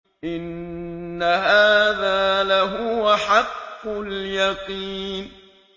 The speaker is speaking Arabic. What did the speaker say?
إِنَّ هَٰذَا لَهُوَ حَقُّ الْيَقِينِ